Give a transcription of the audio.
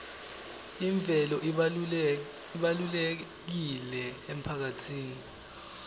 imvelo ibalulekile emphakatsini